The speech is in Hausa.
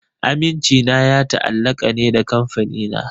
Amincina ya ta'allaka ne da Kamfanina.